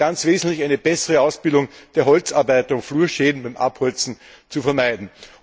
Und ganz wesentlich ist eine bessere Ausbildung der Holzarbeit, um frühe Schäden beim Abholzen zu vermeiden.